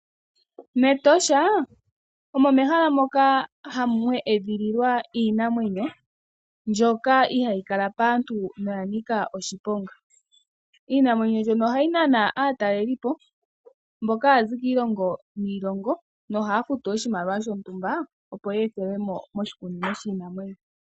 Metosha omo mehala moka mwa edhililwa iinamwenyo mbyoka ihayi kala paantu noya nika oshiponga. Iinamwenyo mbyono ohayi nana aatalelipo mboka haya zi kiilongo niilongo no haya futu oshimaliwa shontumba opo ye ethelwe mo moshikunino shiinamwenyo.